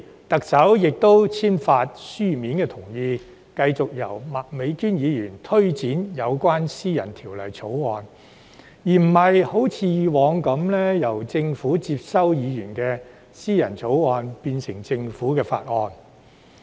特首並同時簽發書面同意，繼續由麥美娟議員推展提出私人條例草案的工作，而不像以往般由政府接收議員的立法建議，提出政府法案。